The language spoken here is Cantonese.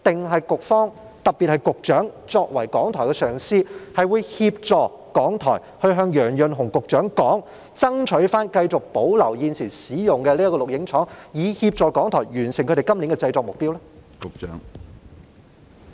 或局長作為港台的上司，會協助港台向楊潤雄局長表達意見，爭取保留現時使用的這個錄影廠，以協助港台完成今年的製作目標？